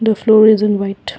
the floor is in white.